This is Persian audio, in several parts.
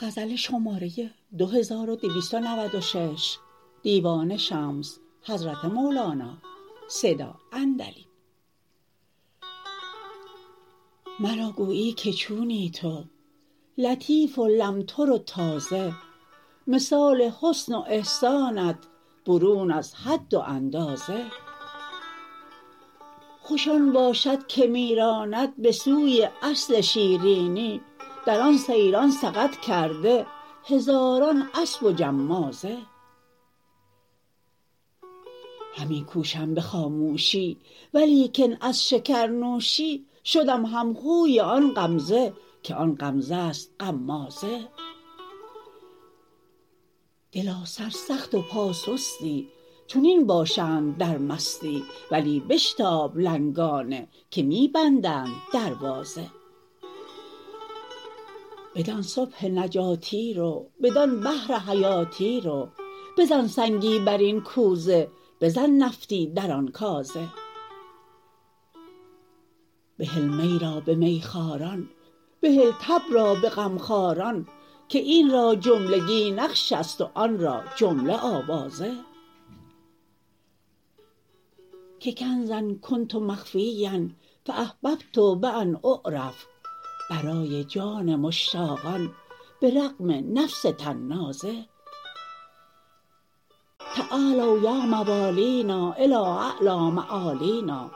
مرا گویی که چونی تو لطیف و لمتر و تازه مثال حسن و احسانت برون از حد و اندازه خوش آن باشد که می راند به سوی اصل شیرینی در آن سیران سقط کرده هزاران اسب و جمازه همی کوشم به خاموشی ولیکن از شکرنوشی شدم همخوی آن غمزه که آن غمزه ست غمازه دلا سرسخت و پاسستی چنین باشند در مستی ولی بشتاب لنگانه که می بندند دروازه بدان صبح نجاتی رو بدان بحر حیاتی رو بزن سنگی بر این کوزه بزن نفطی در آن کازه بهل می را به میخواران بهل تب را به غمخواران که این را جملگی نقش است و آن را جمله آوازه که کنزا کنت مخفیا فاحببت بان اعرف برای جان مشتاقان به رغم نفس طنازه تعالوا یا موالینا الی اعلی معالینا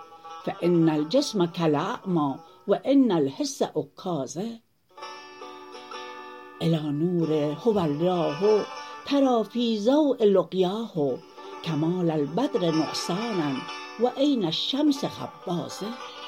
فان الجسم کالاعمی و ان الحس عکازه الی نور هو الله تری فی ضؤ لقیاه کمال البدر نقصانا و عین الشمس خبازه